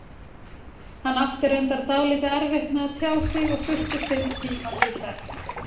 Hann átti reyndar dálítið erfitt með að tjá sig og þurfti sinn tíma til þess.